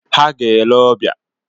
Ha ga-ele ọbịa.